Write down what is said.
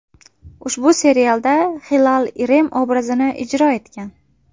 Ushbu serialda Hilal Irem obrazini ijro etgan.